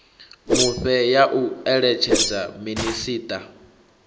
mufhe ya u eletshedza minisiṱa